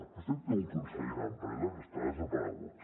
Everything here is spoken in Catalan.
vostè té un conseller d’empresa que està desaparegut